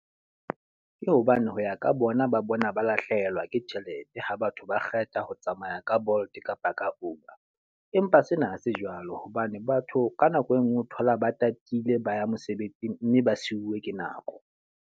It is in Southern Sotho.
Ke hobane ho ya ka bona ba bona ba lahlehelwa ke tjhelete, ha batho ba kgetha ho tsamaya ka Bolt kapa ka Uber. Empa sena ha se jwalo, hobane batho ka nako e nngwe o thola ba tatile ba ya mosebetsing mme ba siuwe ke nako.